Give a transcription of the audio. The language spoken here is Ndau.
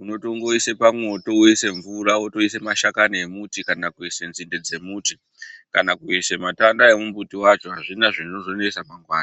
Unotongoise pamwoto woise mvura wotoise mashakani emuti kana kuise nzinde dzemuti kana kuise matanda emumbuti wacho, hazvina zvinozonesa mangwana.